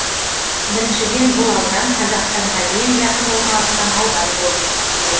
біріншіден бұл аудан қазақстанға ең жақын орналасқан аудан болып есептеледі